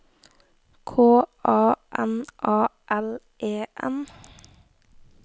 K A N A L E N